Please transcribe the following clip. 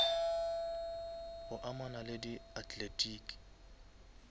go amana le di athletiki